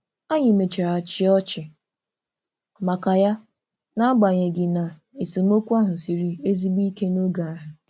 Anyị mechara chịa ọchị maka ya, n’agbanyeghị na esemokwu ahụ siri ezigbo ike n’oge ahụ.